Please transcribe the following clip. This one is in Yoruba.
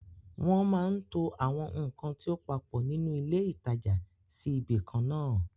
Wọ́n máa ń to àwọn ǹkan tí ó papọ̀ nínú ilé ìtajà sí ibi ìkan náà àn